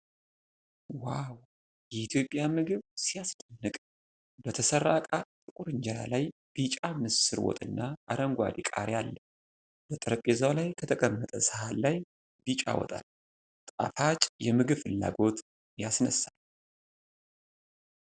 ዋው! የኢትዮጵያ ምግብ ሲያስደንቅ! በተሠራ እቃ ጥቁር እንጀራ ላይ ቢጫ ምስር ወጥና አረንጓዴ ቃሪያ አለ። በጠረጴዛ ላይ ከተቀመጠ ሳህን ላይ ቢጫ ወጥ አለ። ጣፋጭ የምግብ ፍላጎት ያስነሳል።